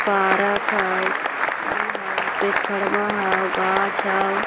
Park हाव ई हो ट्रांसफॉमर हाव घास हाव ।